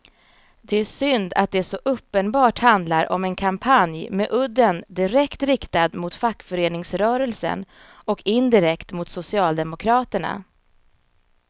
Det är synd att det så uppenbart handlar om en kampanj med udden direkt riktad mot fackföreningsrörelsen och indirekt mot socialdemokraterna.